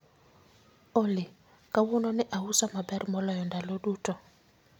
Olly, kawuono ne auso maber moloyo ndalo duto